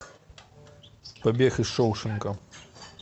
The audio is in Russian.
побег из шоушенка